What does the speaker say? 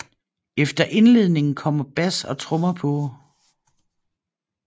Efter indledningen kommer bas og trommer på